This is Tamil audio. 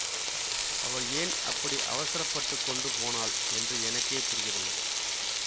அவள் ஏன் அப்படி அவசரப்பட்டுக்கொண்டு போனாள் என்று எனக்கே புரியவில்லை